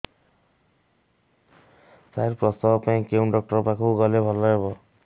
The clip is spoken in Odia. ସାର ପ୍ରସବ ପାଇଁ କେଉଁ ଡକ୍ଟର ଙ୍କ ପାଖକୁ ଗଲେ ଭଲ ହେବ